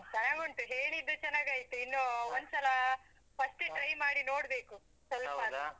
ಚೆನ್ನಾಗುಂಟು. ಹೇಳಿದ್ದು ಚೆನ್ನಾಗಾಯ್ತು, ಇನ್ನು first try ಮಾಡಿ ನೋಡ್ಬೇಕು. ಆದ್ರೂ.